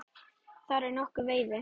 Þar er nokkur veiði.